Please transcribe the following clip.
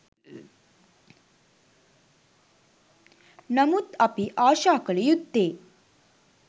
නමුත් අපි ආශා කළ යුත්තේ